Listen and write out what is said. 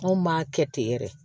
Anw m'a kɛ ten yɛrɛ